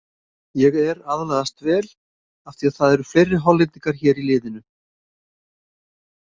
Ég er aðlagast vel af því að það eru fleiri Hollendingar hér í liðinu.